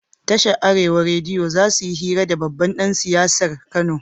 Tashar arewa rediyo zasuyi hira da babban dan siyasar kano